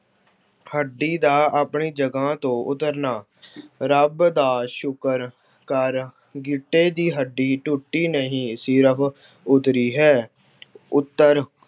ਹੱਡੀ ਦਾ ਆਪਣੀ ਜਗ੍ਹਾ ਤੋਂ ਉੱਤਰਨਾ- ਰੱਬ ਦਾ ਸ਼ੁਕਰ ਕਰ, ਗਿੱਟੇ ਦੀ ਹੱਡੀ ਟੁੱਟੀ ਨਹੀਂ, ਸਿਰਫ ਉੱਤਰੀ ਹੈ। ਉੱਤਰ-